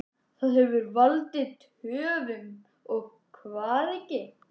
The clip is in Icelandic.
Hvað hefur valdið töfum og hvað ekki?